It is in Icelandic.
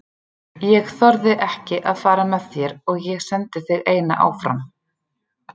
Ég þorði ekki að fara með þér og ég sendi þig eina áfram.